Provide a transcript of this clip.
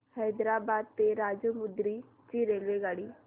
हैदराबाद ते राजमुंद्री ची रेल्वेगाडी